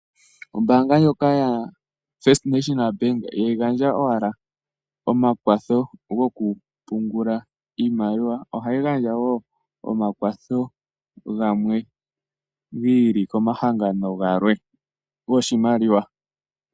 Ombaanga ndjoka yaFirst National Bank ihayi gandja owala omakwatho gokupungula iimaliwa, ohayi gandja wo omakwatho gamwe giili komahangano galwe goshimaliwa.